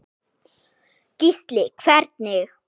Gísli: Hvernig?